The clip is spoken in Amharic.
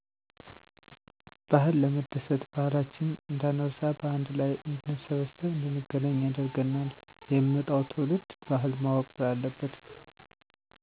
ባህል ለመደሰት ባህላችንን እንዳንረሳ በአንድ ላይ እንድንሰበሰብ እንድንገናኝ ያደርገናል። የሚመጣዉም ትዉልድ ባህል ማወቅ ስላለበት።